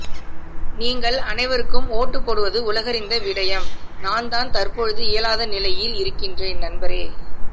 நீங்கள் அனைவருக்கும் ஓட்டு போடுவது உலகறிந்த விடயம் நான்தான் தற்பொழுது இயலாத நிலையிஇருக்கக்கிறேன் நண்பரே